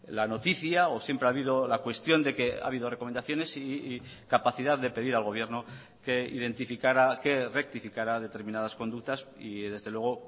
la noticia o siempre ha habido la cuestión de que ha habido recomendaciones y capacidad de pedir al gobierno que identificara que rectificara determinadas conductas y desde luego